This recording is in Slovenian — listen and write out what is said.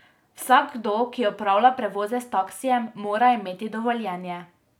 Vsakdo, ki opravlja prevoze s taksijem, mora imeti dovoljenje.